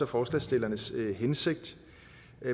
forslagsstillernes hensigt